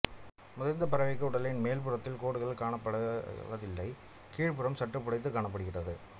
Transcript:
முதிர்ந்த பறவைக்கு உடலின் மேல் புறத்தில் கோடுகள் காணப்படுவதில்லை கீழ்ப்புறம் சற்று புடைத்துக் காணப்படுகின்றது